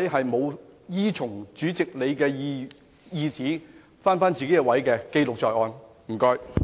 哪些沒有依從主席的指示返回座位的議員記錄在案，謝謝。